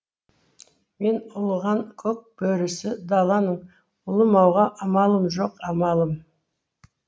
мен ұлыған көк бөрісі даланың ұлымауға амалым жоқ амалым